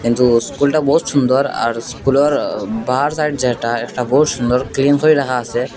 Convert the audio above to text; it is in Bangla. কিন্তু স্কুলটা বহুত সুন্দর আর স্কুলের বাহার সাইড যেটা একটা বহুত সুন্দর ক্লিন করে রাখা আছে।